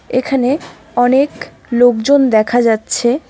এখানে অনেক লোকজন দেখা যাচ্ছে।